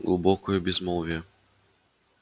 глубокое безмолвие